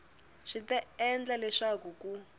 swi ta endla leswaku ku